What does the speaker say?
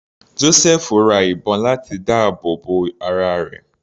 Josẹfu ra ìbọn láti dáàbò bo ara rẹ̀.